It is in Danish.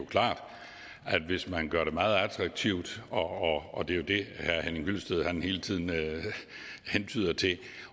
klart at hvis man gør det meget attraktivt og det er jo det herre henning hyllested hele tiden hentyder til